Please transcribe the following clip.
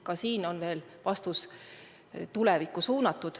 Ka siin on veel vastus tulevikku suunatud.